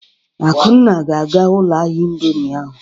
Akunna ga-aga ụlọ ahịa indọmii ahụ.